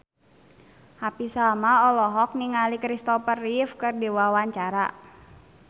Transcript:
Happy Salma olohok ningali Kristopher Reeve keur diwawancara